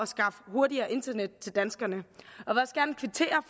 skaffe hurtigere internet til danskerne